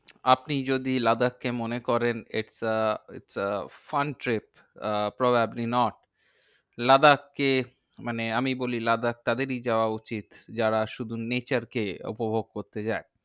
আপনি যদি লাদাখ কে মনে করেন it is a it is a fun trip, probably not. Ladakh কে মানে আমি বলি লাদাখ তাদেরই যাওয়া উচিত, যারা শুধু nature কে উপভোগ করতে যায়।